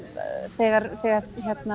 þegar þegar